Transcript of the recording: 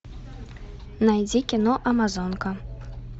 найди кино амазонка